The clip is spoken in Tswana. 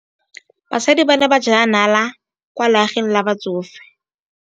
Basadi ba ne ba jela nala kwaa legaeng la batsofe.